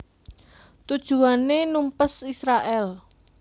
Tujuané numpes Israèl